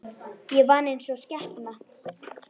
Ég vann einsog skepna.